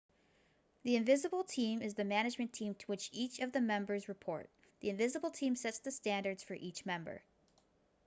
the invisible team is the management team to which each of the members report the invisible team sets the standards for each member